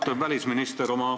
Austatud välisminister!